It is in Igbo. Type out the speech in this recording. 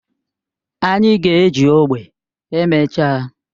Anyị ga-eji ogbe emechaa